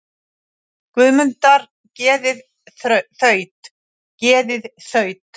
Guðmundar geðið þaut, geðið þaut.